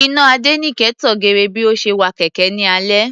Iná Adéníkẹ tan geere bí ó ṣe wa kẹ̀kẹ́ ní alẹ́.